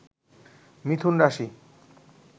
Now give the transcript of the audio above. মিথুন রাশি